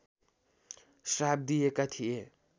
श्राप दिएका थिए